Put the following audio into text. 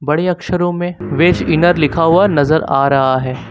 बड़े अक्षरों में वेज इनर लिखा हुआ नजर आ रहा है।